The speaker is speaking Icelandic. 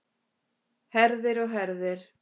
Herðir og herðir.